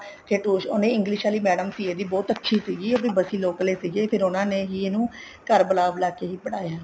ਉਹਨੇ english ਆਲੀ madam ਸੀ ਇਹਦੀ ਬਹੁਤ ਅੱਛੀ ਸੀਗੀ local ਹੀ ਸੀਗੀ ਫ਼ੇਰ ਉਹਨਾ ਨੇ ਹੀ ਇਹਨੂੰ ਘਰ ਬੁਲਾ ਬੁਲਾ ਕੇ ਹੀ ਪੜਾਇਆ